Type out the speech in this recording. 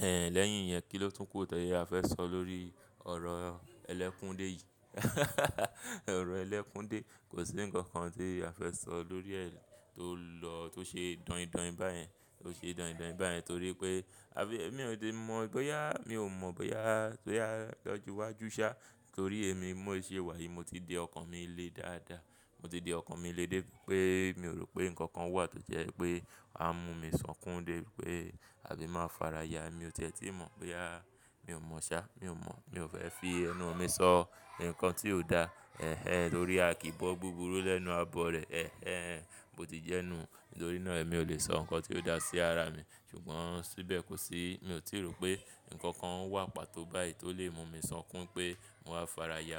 Ẹ lẹ́yìn yẹn kí ló tún kù tó yẹ a fẹ́ sọ lórí ọ̀rọ̀ ẹlẹ́kúndé yìí? Ọ̀rọ̀ ẹlẹ́kúndé kò sí ǹkan kan tí a fẹ́ sọ lórí rẹ̀ tó lọ tó ṣe dọ̀yìndọ̀yìn báyẹn, tó ṣe dọ̀yìndọ̀yìn báyẹn torí pé a bí èmi ò ti mọ bóyá mi ò mọ bóyá tó yá lọjú wájú ṣá torí èmi mó ìṣe wà yìí mo ti di ọkàn mi le dáadáa. Mo ti di ọkàn mi le dé pé mi ò rò pé ǹkan kan wà tó jẹ́ pé á mú mi sọkún dé pé àbí máa fara ya. Èmi ò ti è tíì mọ bóyá mi ò mọ ṣá, mi ò mọ̀. Mi ò fẹ́ fi ẹnu mi sọ ǹkan tí ò da ẹ́hẹn torí a kì í bọ́ buburu lẹ́nu abọrẹ̀ ẹ́hẹn. Mo ti jẹ́nú nítorí náà èmi ò lè sọ ǹkan tí ò dá sí ara mi ṣùgbọ́n síbẹ̀ kò sí mi ò tíì rò pé ǹkan kan wà pàtó báyìí tó lè mú mi sọkún pé mo máa fara ya.